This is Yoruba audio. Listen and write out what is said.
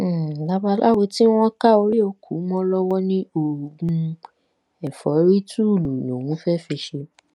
um babaláwo tí wọn ká orí òkú mọ lọwọ ní oògùn um ẹfọrítùùlù lòún fẹẹ fi í ṣe